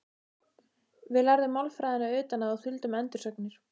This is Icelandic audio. Við lærðum málfræðina utan að og þuldum endursagnir.